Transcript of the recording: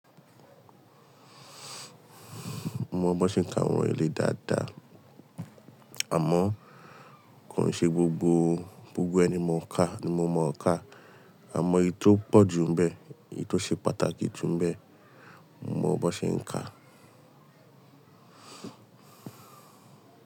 Mo mọ bọ́ ṣe ń ka àwọn ìlẹ́ dáadáa, àmọ́ kò ṣe gbogbo gbogbo ẹni mo ń ka ni mo mọ̀ ọ́ kà. Àmọ́ èyí tó pọ̀ jù ńbẹ, èyí tó ṣe pàtàkì jù ńbẹ, mo mọ bọ́ ṣe ń ka.